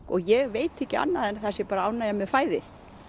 ég veit ekki annað en að það sé bara ánægja með fæðið